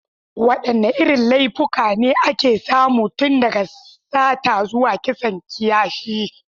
Wadanne irin laifuffuka ne ake samu, tun daga sata zuwa kisan kiyashi?